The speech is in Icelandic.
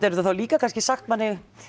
þær þá líka kannski sagt manni